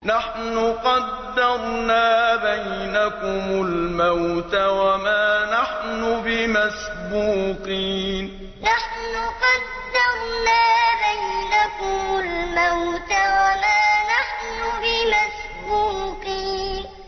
نَحْنُ قَدَّرْنَا بَيْنَكُمُ الْمَوْتَ وَمَا نَحْنُ بِمَسْبُوقِينَ نَحْنُ قَدَّرْنَا بَيْنَكُمُ الْمَوْتَ وَمَا نَحْنُ بِمَسْبُوقِينَ